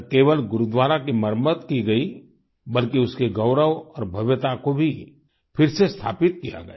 ना केवल गुरुद्वारा की मरम्मत की गई बल्कि उसके गौरव और भव्यता को भी फिर से स्थापित किया गया